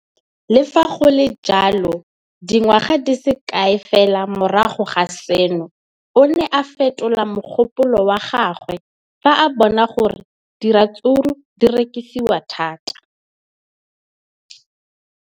Le fa go le jalo, dingwaga di se kae fela morago ga seno, o ne a fetola mogopolo wa gagwe fa a bona gore diratsuru di rekisiwa thata.